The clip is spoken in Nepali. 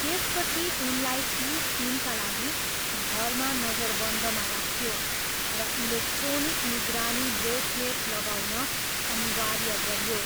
त्यसपछि उनलाई तिस दिनका लागि घरमा नजरबन्दमा राखियो र इलेक्ट्रोनिक निगरानी ब्रेसलेट लगाउन अनिवार्य गरियो।